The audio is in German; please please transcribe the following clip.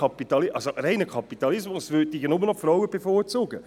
Ein reiner Kapitalismus würde die Frauen bevorzugen.